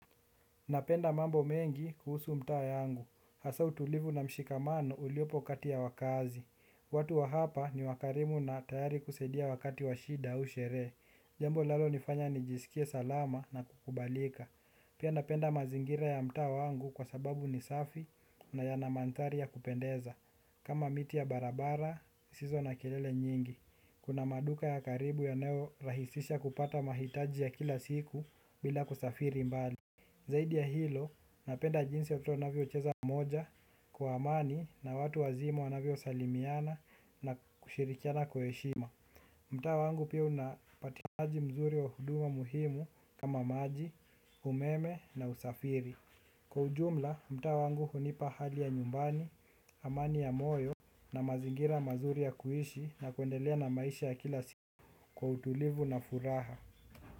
Napenda mambo mengi kuhusu mtaa yangu, hasaa utulivu na mshikamano uliopo kati ya wakaazi. Watu wa hapa ni wakarimu na tayari kusaidia wakati wa shida au sherehe. Jambo linalonifanya nijisikie salama na kukubalika. Pia napenda mazingira ya mtaa wangu kwa sababu ni safi na yana mandhari ya kupendeza. Kama miti ya barabara, zisizo na kelele nyingi. Kuna maduka ya karibu yanayorahisisha kupata mahitaji ya kila siku bila kusafiri mbali. Zaidi ya hilo napenda jinsi watoto wanavyocheza pamoja kwa amani na watu wazima wanavyosalimiana na kushirikiana kwa heshima. Mtaa wangu pia unapatikanaji mzuri wa huduma muhimu kama maji, umeme na usafiri. Kwa ujumla mtaa wangu hunipa hali ya nyumbani, amani ya moyo na mazingira mazuri ya kuishi na kuendelea na maisha ya kila siku kwa utulivu na furaha.